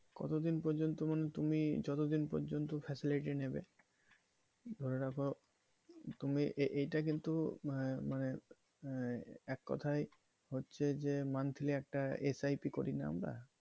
কতদিন পর্যন্ত মানে তুমি যতদিন পর্যন্ত facility নেবে ধরে রাখো তুমি এইটা কিন্তু মা~মানে আহ এক কথায় হচ্ছে যে monthly একটা SIP করিয়ে নেবা।